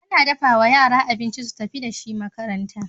Ana dafawa yara abinci su tafi da shi makaranta